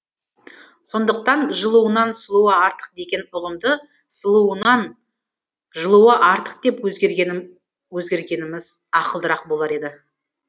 сондықтан жылуынан сұлуы артық деген ұғымды сұлуынан жылуы артық деп өзгергеніміз ақылдырақ болар еді